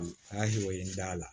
A y'aw ye n da la